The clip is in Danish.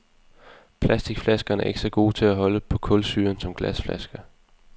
Plasticflaskerne er ikke så gode til at holde på kulsyren, som glasflasker.